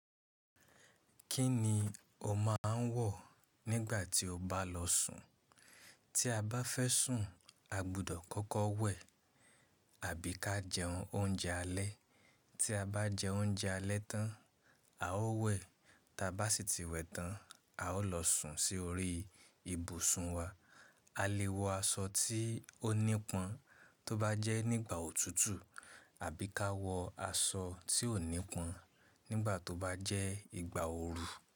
Kí ni o máa ń wọ̀ nígbà tí o bá lọ sùn? Tí a bá fẹ́ sùn, a gbudọ̀ kọ́kọ́ wẹ̀ àbí ká jẹun oúnjẹ alẹ́. Tí a bá jẹ oúnjẹ alẹ́ tán, a ó wẹ̀. Ta bá sì ti wẹ̀ tán, a ó lọ sùn sí orí ìbùsùn wa. A lè wọ aṣọ tí ó nípọn tó bá jẹ́ nígbà òtútù àbí ká wọ aṣọ tí ò nípọn nígbà tó bá jẹ́ ìgbà ooru.